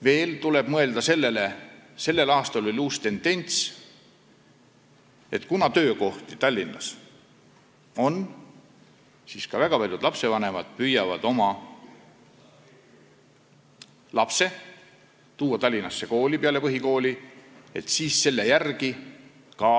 Veel tuleb mõelda sellele uuele tendentsile, mis sel aastal tekkis, et kuna Tallinnas on töökohti, siis püüavad väga paljud lastevanemad tuua oma lapse peale põhikooli Tallinnasse ja seal ka